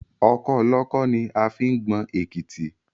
Ọkọ́ olọ́kọ́ ni a fi ń gbọn èkítí